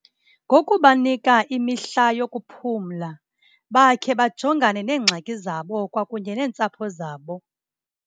Ngokubanika imihla yokuphumla bakhe bajongane neengxaki zabo kwakunye neentsapho zabo.